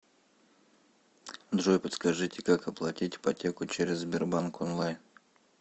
джой подскажите как оплатить ипотеку через сбербанк онлайн